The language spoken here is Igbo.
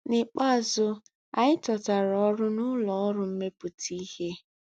Nikpeazụ, anyị chọtara ọrụ na ụlọ ọrụ mmepụta ihe.